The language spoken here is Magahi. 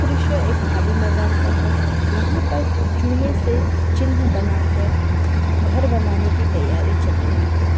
ये दृश्य एक खाली मैदान का है। यहाँ पे चुने से चिह्न बना कर घर बनाने की तैयारी चल रही है।